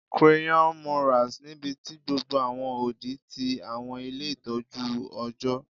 Crayon murals nibiti gbogbo awọn odi ti awọn ile itọju ọjọ